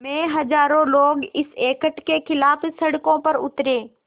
में हज़ारों लोग इस एक्ट के ख़िलाफ़ सड़कों पर उतरे